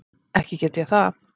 Ekki get ég það.